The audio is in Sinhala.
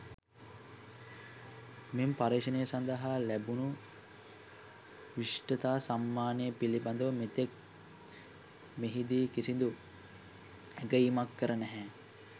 මෙම පර්යේෂණය සඳහා ලැබුණු විශිෂ්ඨතා සම්මානය පිළිබඳව මෙතෙක් මෙහිදී කිසිදු ඇගයීමක් කර නැහැ.